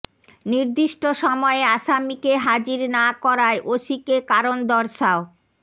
নির্দিষ্ট সময়ে আসামিকে হাজির না করায় ওসিকে কারণ দর্শাও